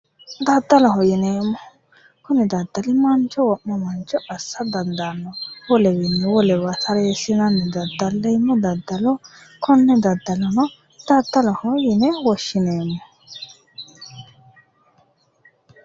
Daddaloho yineemmohu kuni daddali mancho wo'ma mancho assa dandaanno wolewiinni wolewa tareessinanni daddalleemmo daddalo konne daddaloho yine woshshineemmo